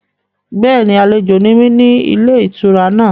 Bẹ́ẹ̀ni, àlejò ni mí ní ilé-ìtura náà.